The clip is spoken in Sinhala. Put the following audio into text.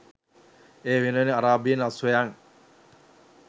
ඒ වෙනුවෙන් අරාබියෙන් අශ්වයන්